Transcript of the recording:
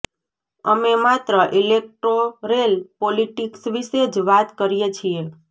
અમે માત્ર electoral politics વિશે જ વાત કરીએ છીએ